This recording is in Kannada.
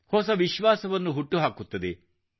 ಹೊಸ ವಿಶ್ವಾಸವನ್ನು ಹುಟ್ಟುಹಾಕುತ್ತದೆ